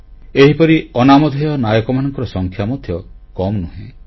ଏହିପରି ଅନାମଧ୍ୟେୟ ନାୟକମାନଙ୍କର ସଂଖ୍ୟା ମଧ୍ୟ କମ୍ ନୁହେଁ